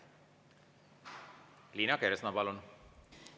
Liina Kersna, palun!